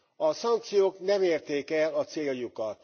A szankciók nem érték el a céljukat.